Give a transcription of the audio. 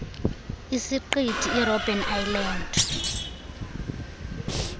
isiqithi irobben island